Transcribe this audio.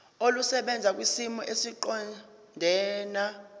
olusebenza kwisimo esiqondena